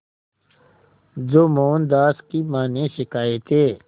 जो मोहनदास की मां ने सिखाए थे